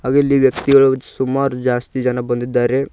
ಹಾಗೆ ಇಲ್ಲಿ ವ್ಯಕ್ತಿಗಳು ಸುಮಾರು ಜಾಸ್ತಿ ಜನ ಬಂದಿದ್ದಾರೆ.